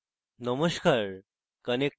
নমস্কার